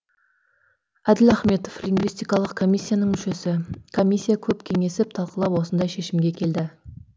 әділ ахметов лингвистикалық комиссияның мүшесі комиссия көп кеңесіп талқылап осындай шешімге келді